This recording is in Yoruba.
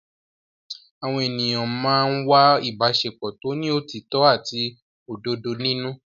Àwọn ènìyàn máa ń wá ìbáṣepọ̀ tó ní òtítọ́ àti òdodo nínú.